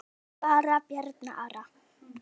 Spurðu bara Bjarna Ara!